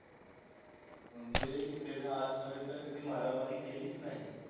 म्हणजे ते आजपर्यंत कधी मारामारी केली नाही.